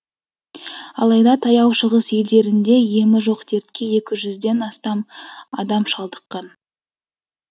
алайда таяу шығыс елдерінде емі жоқ дертке екі жүзден астам адам шалдыққан